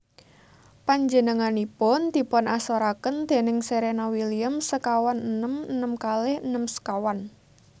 Panjenenganipun dipunasoraken déning Serena Williams sekawan enem enem kalih enem sekawan